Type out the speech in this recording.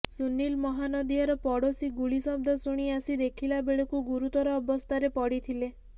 ସୁନୀଲ ମହାନନ୍ଦିଆର ପଡୋଶୀ ଗୁଳି ଶବ୍ଦ ଶୁଣି ଆସି ଦେଖିଲାବେଳକୁ ଗୁରୁତର ଅବସ୍ଥାରେ ପଡ଼ିଥିଲେ